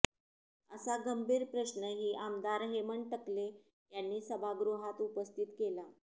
असा गंभीर प्रश्नही आमदार हेमंत टकले यांनी सभागृहात उपस्थित केला